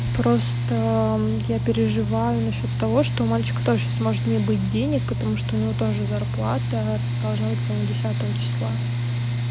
просто я переживаю насчёт того что у мальчика тоже сейчас может не быть денег потому что у него тоже зарплата должна быть по-моему десятого числа